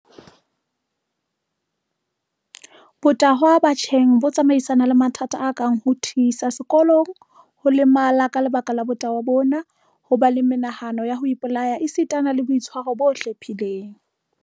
Botahwa batjheng bo tsamaisana le mathata a kang ho thisa sekolong, ho lemala ka lebaka la botahwa bona, ho ba le menahano ya ho ipolaya esitana le boitshwaro bo hlephileng.